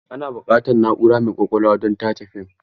Ana buƙatar na'ura mai ƙwaƙwalwa don tace fim.